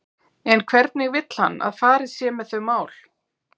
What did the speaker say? En hvernig vill hann að farið sé með þau mál?